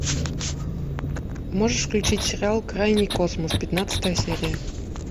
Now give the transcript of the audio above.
можешь включить сериал крайний космос пятнадцатая серия